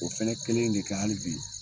O fɛnɛ kelen in de kɛ hali bi.